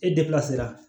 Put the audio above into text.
E